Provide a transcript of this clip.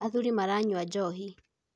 Athuri maranyua njohi.